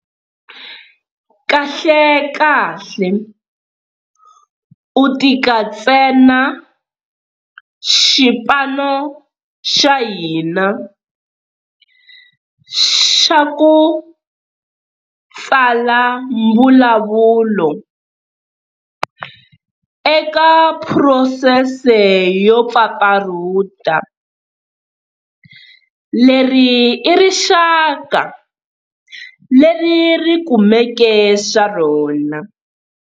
Kahlekahle u tika tsena xipano xa hina xa ku tsala mbulavulo eka phurosese yo pfapfarhuta. Leri i rixaka leri ri kumeke swa rona.